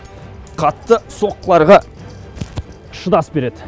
қатты соққыларға шыдас береді